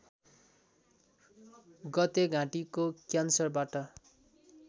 गते घाँटीको क्यान्सरबाट